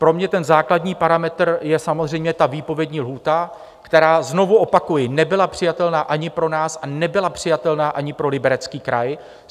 Pro mě ten základní parametr je samozřejmě ta výpovědní lhůta, která, znovu opakuji, nebyla přijatelná ani pro nás, a nebyla přijatelná ani pro Liberecký kraj.